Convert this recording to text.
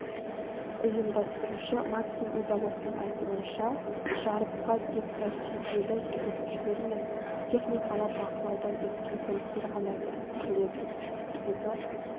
ұйымдастырушы максим удаловтың айтуынша жарысқа тек тәжірибелі жүргізушілер мен техникалық бақылаудан өткен көліктер ғана кірістіріледі себебі